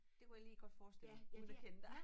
Det kunne jeg lige godt forestille mig uden at kende dig